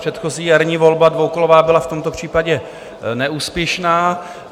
Předchozí jarní volba dvoukolová byla v tomto případě neúspěšná.